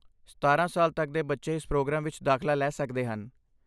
ਸਤਾਰਾਂ ਸਾਲ ਤੱਕ ਦੇ ਬੱਚੇ ਇਸ ਪ੍ਰੋਗਰਾਮ ਵਿੱਚ ਦਾਖਲਾ ਲੈ ਸਕਦੇ ਹਨ